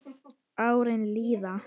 Árin líða.